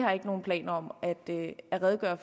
her